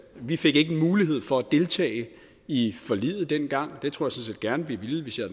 vi fik ikke mulighed for at deltage i forliget dengang det tror set gerne at vi ville hvis